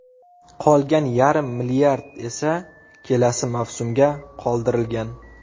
Qolgan yarim milliard esa kelasi mavsumga qoldirilgan.